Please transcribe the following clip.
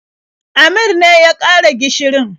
Amir ne ya ƙara gishirin.